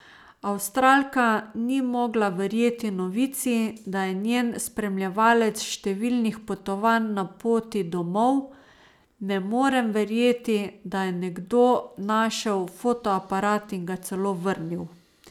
Avstralka ni mogla verjeti novici, da je njen spremljevalec številnih potovanj na poti domov: 'Ne morem verjeti, da je nekdo našel fotoaparat in ga celo vrnil.